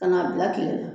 Ka n'a bila tile la